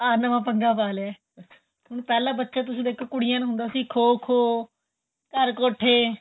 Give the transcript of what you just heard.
ਆਂ ਨਵਾਂ ਪੰਗਾ ਪਾ ਲਿਆ ਹੁਣ ਪਹਿਲਾਂ ਬੱਚੇ ਤੁਸੀਂ ਦੇਖੋ ਕੁੜੀਆਂ ਨੂੰ ਹੁੰਦਾ ਸੀ ਖ਼ੋ ਖ਼ੋ ਘਰ ਕੋਠੇ